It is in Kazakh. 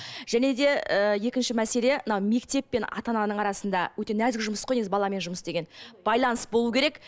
және де ііі екінші мәселе мына мектеп пен ата ананың арасында өте нәзік жұмыс қой негізі баламен жұмыс деген байланыс болу керек